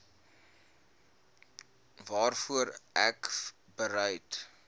waarvoor ek bereid